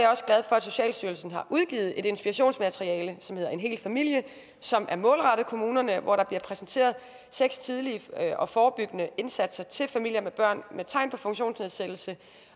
socialstyrelsen har udgivet et inspirationsmateriale som hedder en hel familie som er målrettet kommunerne hvor der bliver præsenteret seks tidlige og forebyggende indsatser til familier med børn med tegn på funktionsnedsættelse